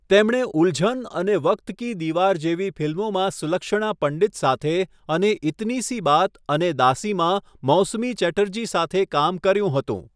તેમણે 'ઉલ્ઝન' અને 'વક્ત કી દીવાર' જેવી ફિલ્મોમાં સુલક્ષણા પંડિત સાથે અને 'ઇતની સી બાત' અને 'દાસી' માં મૌસમી ચેટર્જી સાથે કામ કર્યું હતું.